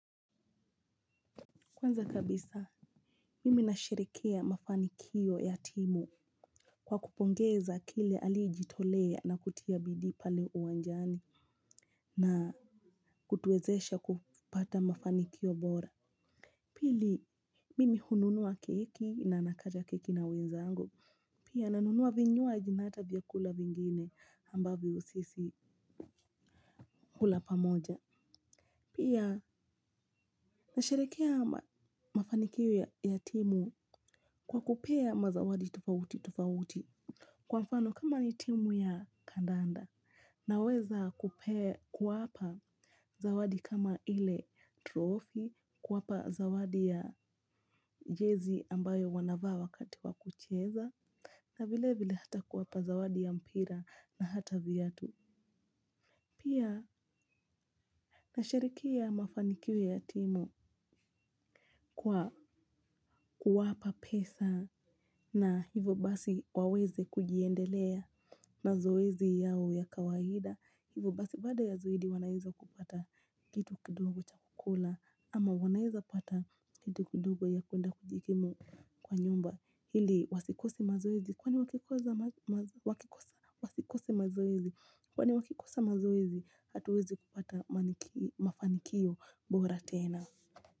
Kwanza kabisa mimi nashirikia mafanikio ya timu kwa kupongeza kila aliyejitolea na kutia bidii pale uwanjani. Na kutuwezesha kupata mafanikio bora. Pili mimi hununua keki na nakata keki na wenzangu. Pia nanunua vinywaji na hata vyakula vingine ambavyo sisi hula pamoja pia nasherehekea mafanikio ya timu kwa kupea mazawadi tofauti tofauti. Kwa mfano kama ni timu ya kandanda naweza kuwapa zawadi kama ile trophy, kuwapa zawadi ya jezi ambayo wanavaa wakati wa kucheza na vilevile hata kuwapa zawadi ya mpira na hata viatu. Pia nasherehekea mafanikio ya timu kwa kuwapa pesa na hivyo basi waweze kujiendelea mazoezi yao ya kawaida. Hivyo basi baada ya zoezi wanaweza kupata kitu kidogo cha kukula ama wanaweza pata kitu kidogo ya kwenda kujikimu kwa nyumba. Ili wasikose mazoezi kwani wakikosa mazoezi hatuwezi kupata mafanikio bora tena.